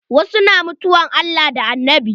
Wasu mutane na mutuwan Allah da Annabi.